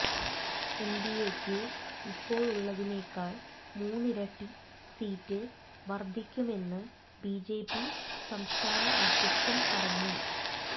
എൻഡിഎയ്ക്ക് ഇപ്പോഴുള്ളതിനേക്കാൾ മൂന്നിരട്ടി സീറ്റ് വർധിക്കുമെന്ന് ബിജെപി സംസ്ഥാന അദ്ധ്യക്ഷൻ പറഞ്ഞു